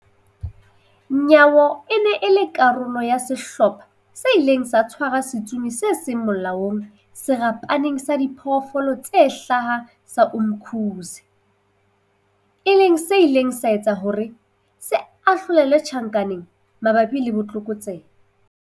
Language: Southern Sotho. Nyawo e ne e le karolo ya sehlopha se ileng sa tshwara setsomi se seng molaong Serapeng sa Diphoofolo tse Hlaha sa Umkhuze, e leng se ileng sa etsa hore se ahlolelwe tjhankaneng mabapi le botlokotsebe.